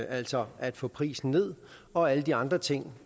altså at få prisen ned og alle de andre ting